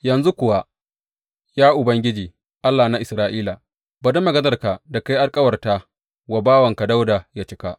Yanzu kuwa, ya Ubangiji, Allah na Isra’ila, bari maganarka da ka yi alkawarta wa bawanka Dawuda yă cika.